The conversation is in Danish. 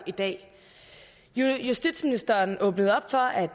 i dag justitsministeren åbnede op for at